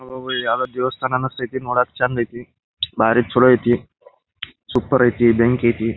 ಓ ಇದು ಯಾವುದೊ ದೇವಸ್ಥಾನ ಅನಿಸ್ತಾಯಿತಿ ನೋಡಕೆ ಚಂದ ಐತಿ ಬಾರಿ ಚಲೋ ಐತಿ ಸೂಪರ್ ಐತಿ ಬೆಂಕಿ ಐತಿ.